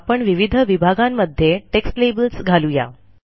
आपण विविध विभागांमध्ये टेक्स्ट लेबल्स घालू या